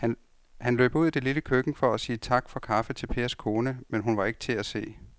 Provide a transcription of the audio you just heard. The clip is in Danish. Han løb ud i det lille køkken for at sige tak for kaffe til Pers kone, men hun var ikke til at se.